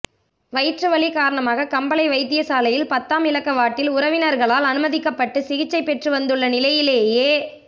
வயிற்று வலி காரணமாக கம்பளை வைத்திய சாலையின் பத்தாம் இலக்க வாட்டில் உறவினர்களினால் அனுமதிக்கம்ப்பட்டு சிகிச்சை பெற்று வந்துள்ள நிலையிலேயே